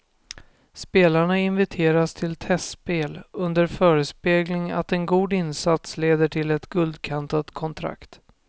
Spelarna inviteras till testspel under förespegling att en god insats leder till ett guldkantat kontrakt.